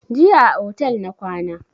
Jiya a otel na kwana